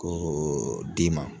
Ko d'i ma